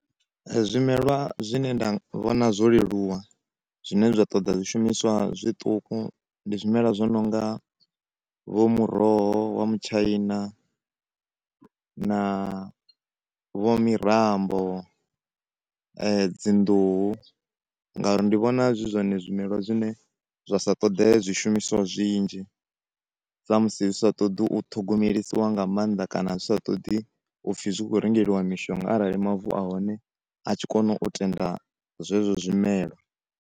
Zwimela zwine nda vhona zwo leluwa zwine zwa ṱoḓwa zwishumiswa zwiṱuku ndi zwimela zwo nonga vho muroho vho mutshaina na vho mirambo dzi nḓuhu nga uri ndi vhona zwi zwone zwimelwa zwine zwa sa ṱoḓe zwishumiswa zwinzhi sa musi zwisa ṱoḓi u ṱhogomelisiwa nga maanḓa kana zwisa ṱoḓi upfi zwi kho rengeliwa mishonga arali mavu ahone a tshi kona u tenda zwezwo zwimela.